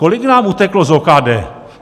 Kolik nám uteklo z OKD?